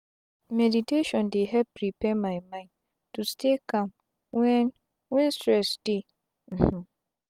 meditation dey help prepare my mind to stay calm wen wen stress dey. um